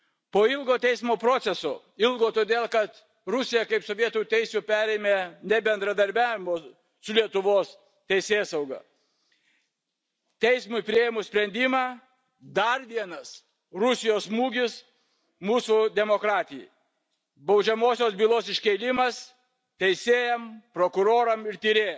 Po ilgo teismo proceso ilgo todėl, kad Rusija kaip sovietų teisių perėmėja nebendradarbiavo su Lietuvos teisėsauga teismui priėmus sprendimą dar vienas Rusijos smūgis mūsų demokratijai baudžiamosios bylos iškėlimas teisėjams, prokurorams ir tyrėjams.